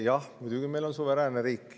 Jah, muidugi meil on suveräänne riik.